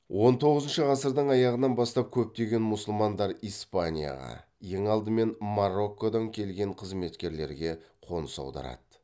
он тоғызыншы ғасырдың аяғынан бастап көптеген мұсылмандар испанияға ең алдымен мароккодан келген қызметкерлерге қоныс аударады